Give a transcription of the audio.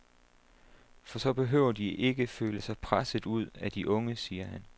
For så behøver de ikke føle sig presset ud af de unge, siger han.